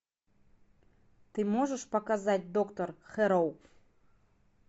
ты можешь показать доктор хэрроу